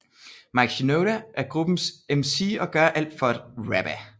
Mike Shinoda er gruppens MC og gør alt for at rappe